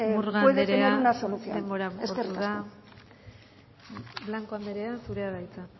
murga andrea denbora agortu da eskerrik asko blanco anderea zurea da hitza